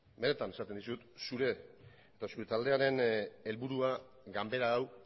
benetan esaten dizut zure eta zure taldearen helburua ganbara hau